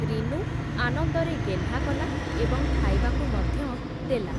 ରିନୁ, ଆନନ୍ଦରେ ଗେହ୍ଲା କଲା, ଏବଂ ଖାଇବାକୁ ମଧ୍ୟ ଦେଲା ।